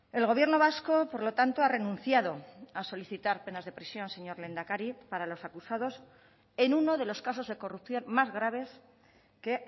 el gobierno vasco por lo tanto ha renunciado a solicitar penas de prisión señor lehendakari para los acusados en uno de los casos de corrupción más graves que